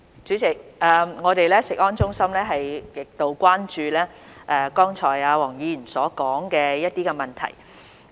主席，我們的食安中心極度關注黃議員剛才所說的一些問題。